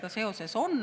… tal sellega seoses on.